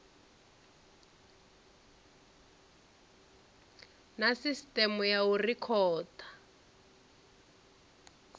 na sisiteme ya u rekhoda